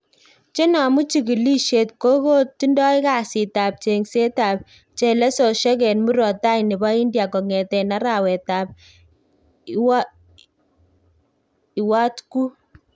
Chenomu chikilisiet kokotindoi kasit ab cheng'set ab chelososiek en murot tai nebo India kongeten arawet ab Iwatgut